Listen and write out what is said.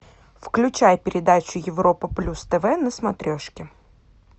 включай передачу европа плюс тв на смотрешке